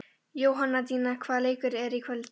Jóhanndína, hvaða leikir eru í kvöld?